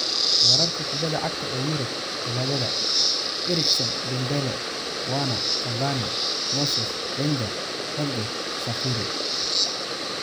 Wararka kubadda cagta ee Yurub Talaadada : Eriksen, Dembele, Werner, Cavani, Moses, Wenger, Holgate, Shaqiri